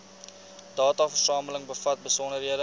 dataversameling bevat besonderhede